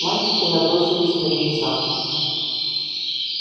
мальчики набросились на мит са